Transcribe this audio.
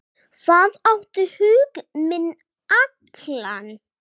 Það átti hug minn allan.